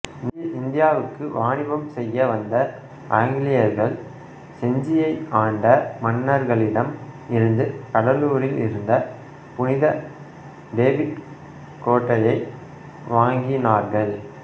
இந்தியாவுக்கு வாணிபம் செய்ய வந்த ஆங்கிலேயர்கள் செஞ்சியை ஆண்ட மன்னர்களிடம் இருந்து கடலூரில் இருந்த புனித டேவிட் கோட்டையை வாங்கினார்கள்